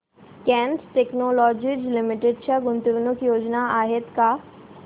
cat technologies limited च्या गुंतवणूक योजना आहेत का